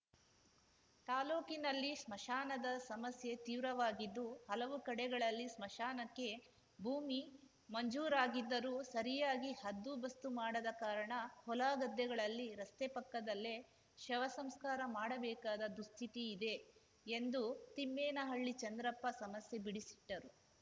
ತಾಲೂಕಿನಲ್ಲಿ ಸ್ಮಶಾನದ ಸಮಸ್ಯೆ ತೀವ್ರವಾಗಿದ್ದು ಹಲವು ಕಡೆಗಳಲ್ಲಿ ಸ್ಮಶಾನಕ್ಕೆ ಭೂಮಿ ಮಂಜೂರಾಗಿದ್ದರೂ ಸರಿಯಾಗಿ ಹದ್ದುಬಸ್ತು ಮಾಡದ ಕಾರಣ ಹೊಲಗದ್ದೆಗಳಲ್ಲಿ ರಸ್ತೆ ಪಕ್ಕದಲ್ಲೇ ಶವಸಂಸ್ಕಾರ ಮಾಡಬೇಕಾದ ದುಸ್ಥಿತಿ ಇದೆ ಎಂದು ತಿಮ್ಮೇನಹಳ್ಳಿ ಚಂದ್ರಪ್ಪ ಸಮಸ್ಯೆ ಬಿಡಿಸಿಟ್ಟರು